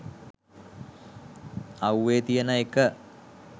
අව්වේ තියන එක.